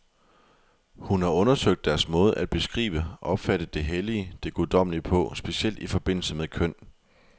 Hun har undersøgt deres måde at beskrive, opfatte det hellige, det guddommelige på, specielt i forbindelse med køn.